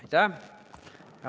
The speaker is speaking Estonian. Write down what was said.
Aitäh!